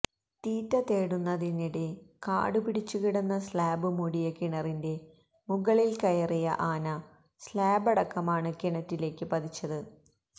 തീറ്റ തേടുന്നതിനിടെ കാടുപിടിച്ചുകിടന്ന സ്ലാബ് മൂടിയ കിണറിന്റെ മുകളിൽ കയറിയ ആന സ്ലാബടക്കമാണ് കിണറ്റിലേക്ക് പതിച്ചത്